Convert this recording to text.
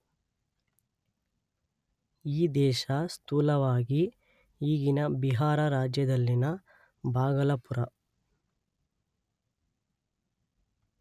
ಈ ದೇಶ ಸ್ಥೂಲವಾಗಿ ಈಗಿನ ಬಿಹಾರ ರಾಜ್ಯದಲ್ಲಿನ ಭಾಗಲಪುರ